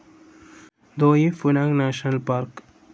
ദോയി Phu Nang national park